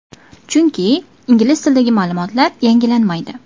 Chunki, ingliz tilidagi ma’lumotlar yangilanmaydi.